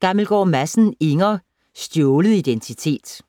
Gammelgaard Madsen, Inger: Stjålet identitet